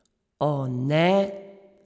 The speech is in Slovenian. O, ne!